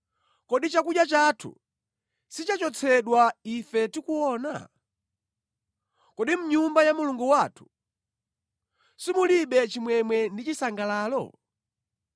Kodi chakudya chathu sichachotsedwa ife tikuona? Kodi mʼnyumba ya Mulungu wathu simulibe chimwemwe ndi chisangalalo?